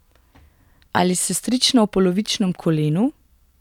Ali sestrična v polovičnem kolenu?